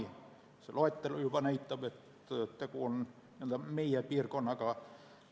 Juba see loetelu näitab, et tegu on n-ö meie piirkonnaga.